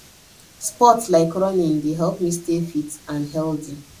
sports like running dey help me stay fit and healthy